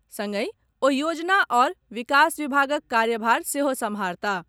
संगहि ओ योजना आओर विकास विभागक कार्यभार सेहो सम्भारताह।